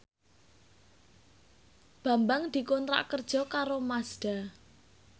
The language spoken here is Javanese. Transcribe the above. Bambang dikontrak kerja karo Mazda